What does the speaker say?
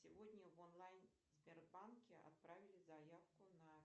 сегодня в онлайн сбербанке отправили заявку на